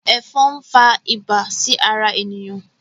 Efòn n fà ibà sí ará eniyan